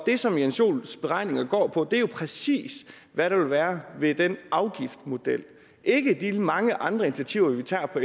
det som jens joels beregninger går på er jo præcis hvad der vil være ved den afgiftsmodel ikke de mange andre initiativer vi tager på